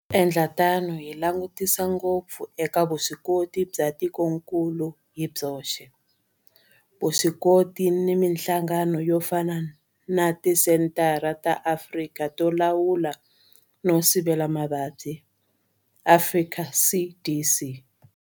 Hi ku endla tano hi langutisa ngopfu eka vuswikoti bya tikokulu hi byoxe, vuswikoti na mihlangano yo fana na Tisenthara ta Afrika to Lawula no Sivela Mavabyi, Afrika CDC.